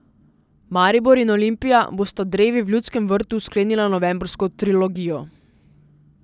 Maribor in Olimpija bosta drevi v Ljudskem vrtu sklenila novembrsko trilogijo.